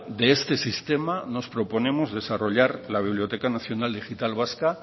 de este sistema nos proponemos desarrollar la biblioteca nacional digital vasca